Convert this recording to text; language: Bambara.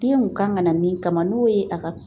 Denw kan ka na min kama n'o ye a ka